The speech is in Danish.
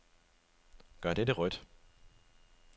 Gør dette rødt.